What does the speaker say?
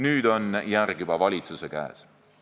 Nüüd on järg juba valitsuse käes.